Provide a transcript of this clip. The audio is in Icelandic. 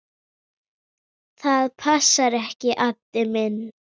Það passar ekki, Addi minn.